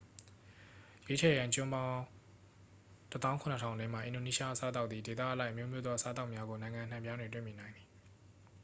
ရွေးချယ်ရန် ကျွန်းပေါင်း 17,000 ထဲမှ အင်ဒိုနီးရှား အစားအသောက်သည် ဒေသအလိုက်အမျိုးမျိုးသော အစားအသောက်များကို နိုင်ငံအနှံအပြားတွင် တွေ့မြင်နိုင်သည်